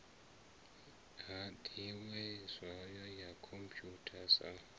hadiwee zwayo ya khomputha sa